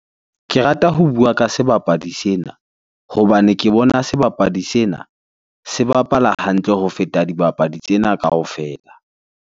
Ke rata ho bua ka sebapadi sena hobane ke bona sebapadi sena se bapala hantle ho feta dibapadi tsena kaofela.